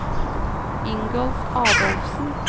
Ingolf Adolfsen